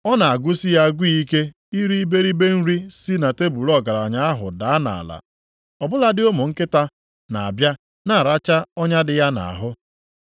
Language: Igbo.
Ọ na-agụsị ya agụụ ike iri iberibe nri si na tebul ọgaranya ahụ daa nʼala. Ọ bụladị ụmụ nkịta na-abịa na-aracha ọnya dị ya nʼahụ.